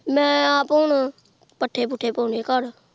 ਮੈਂ ਆਪ ਹੁਣ ਪੱਠੇ-ਪੁੱਠੇ ਪਾਉਣੇ ਘਰ।